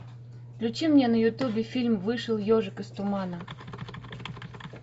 включи мне на ютубе фильм вышел ежик из тумана